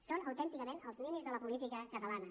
són autènticament els ninis de la política catalana